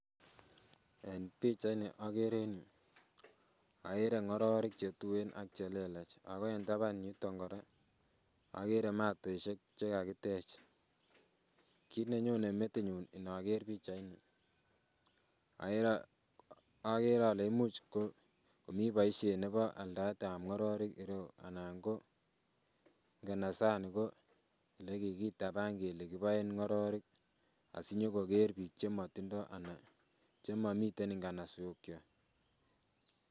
En pichait ni okere en yuu okere ng'ororik chetuen ak chelelach ako en taban yuton kora okere matosiek chekakitech. Kit nenyone metinyun inoker pichait ni okere ole imuch ko komii boisiet nebo aldaet ab ng'ororik en ireu anan ko nganasani ko elekikitaban ko elekiboen ng'ororik asinyokoker biik chemotindoo anan chemomiten nganasok kwak.